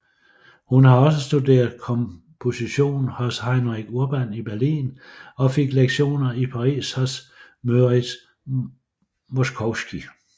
Hun har også studeret komposition hos Heinrich Urban i Berlin og fik lektioner i Paris hos Moritz Moszkowski